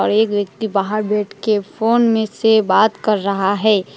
एक व्यक्ति बाहर बैठ के फोन में से बात कर रहा है।